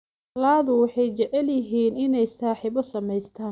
Ladu waxay jecel yihiin inay saaxiibo samaystaan.